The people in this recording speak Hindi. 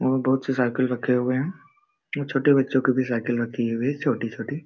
वहा बहुत से साइकल रालखे हुए है वहा छोटे बच्चे की भी साइकल राखी हुई है वह छोटी छोटी।